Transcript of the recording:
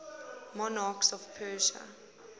monarchs of persia